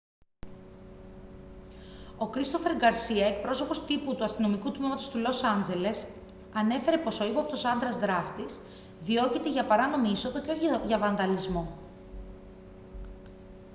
ο christopher garcia εκπρόσωπος τύπου του αστυνομικού τμήματος του λος άντζελες ανέφερε πως ο ύποπτος άνδρας δράστης διώκεται για παράνομη είσοδο και όχι για βανδαλισμό